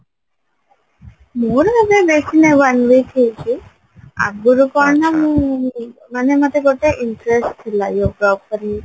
ମୋର ଜମା ବେଶି ନାହି one week ହେଇଚି ଆଗରୁ କଣ ନା ମୁଁ ମାନେ ମତେ ଗୋଟେ interest ଥିଲା yoga ଉପରେ